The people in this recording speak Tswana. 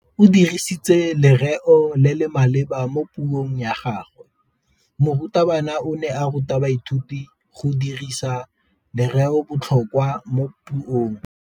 O dirisitse lerêo le le maleba mo puông ya gagwe. Morutabana o ne a ruta baithuti go dirisa lêrêôbotlhôkwa mo puong.